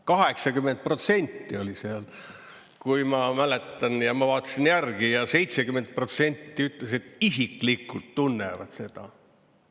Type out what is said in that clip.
80% oli seal, kui ma mäletan, ma vaatasin järgi, ja 70% ütles, et isiklikult tunnevad seda.